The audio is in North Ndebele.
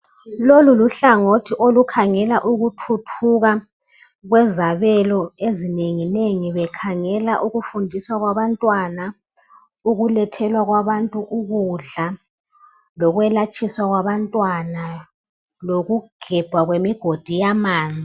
Lolu luhlangothi olukhangela ukuthuthuka kwezabelo ezinenginengi. Bekhangela ukufundiswa kwabantwana,